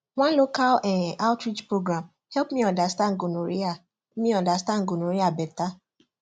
one local um outreach program help me understand gonorrhea me understand gonorrhea better